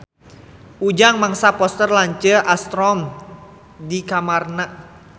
Ujang masang poster Lance Armstrong di kamarna